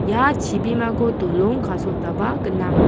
ia chibimako dolong kasotaba gnang.